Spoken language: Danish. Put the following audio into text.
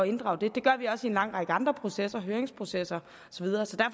inddrage det det gør vi også i en lang række andre processer høringsprocesser